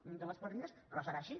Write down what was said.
augmenten les partides però serà així